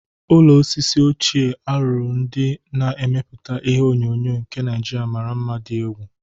Ụlọ osisi ochie a lụrụ ndị na-emeputa ihe onyonyo nke Naijiria mara mma dị egwu.